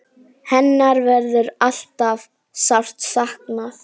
Hennar verður ávallt sárt saknað.